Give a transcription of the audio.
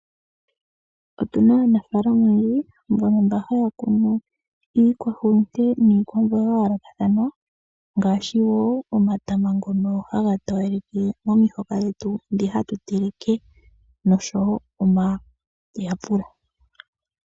Otuna aanafaalama oyendji mbono haya kunu iikwahulute niikwamboga ya yoolokathana ngaashi wo omatama ngono haga towaleke momihoka dhetu ndhi hatu teleke, noshowo omayapula.